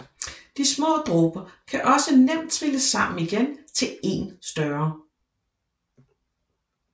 De små dråber kan også nemt trilles sammen igen til én større